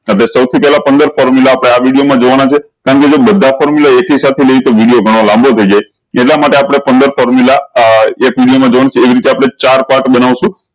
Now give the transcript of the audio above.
હવે સૌ થી પેહલા પંદર formula આપળે આ વિડીયો મા જોવાના છે કેમ કે જો બધા formula એક હિસાબ થી લઇ તો બીજો ઘણો લાંબો થઇ જાય એટલા માટે આપળે પંદર formula એક વિડીયો મા જોયી ને એવી રીતે આપળે ચાર part બનાવીશું